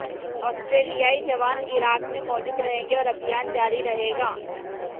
ऑस्ट्रेलियाई जवान इराक में मौजूद रहेंगे और अभियान जारी रहेगा